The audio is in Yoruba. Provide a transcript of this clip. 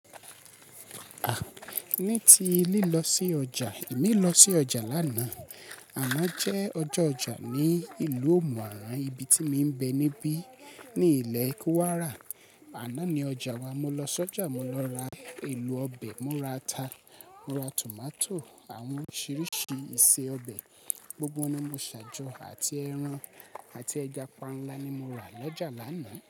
Ni ti lí lọ sí ọjà, èmi lọ sí ọjà lánà, àná jẹ́ ọjọ́ ọjà ní ìlú Omu Aran, ibi tí mo ń bẹ níbí ní ilé Kuwara. Àná ni ọjà, mo lọ sí ọjà, mo lọ ra èlò ọbẹ̀, mo ra ata, mo ra tomato, àwọn oríṣiríṣi iṣẹ́ ọbẹ̀, gbogbo ni mo ṣàjọ àti ẹran àti ẹja panla ni mo rà l'ọ́jà lánà.